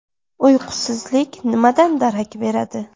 Uyqusizlik nimadan darak beradi?